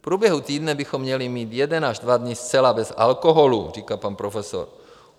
V průběhu týdne bychom měli mít jeden až dva dny zcela bez alkoholu, říká pan profesor.